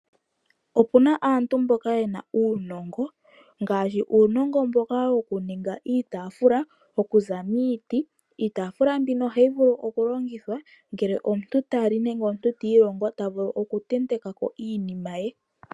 Opuna aantu mboka ye na uunongo ngaashi uunongo mboka wokuninga iitafula okuza miiti, iitafula mbino ohayi vulu okulongithwa ngele omuntu ta li nando omuntu tiilongo oha vulu okutenteka ko iinima ye.